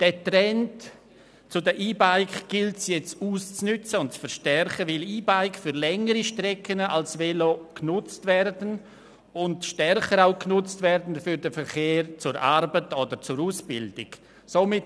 Diesen Trend zu den E-Bikes gilt es nun auszunützen und zu verstärken, weil E-Bikes für längere Strecken als Velos und auch stärker für den Verkehr zur Arbeit oder zur Ausbildung genutzt werden.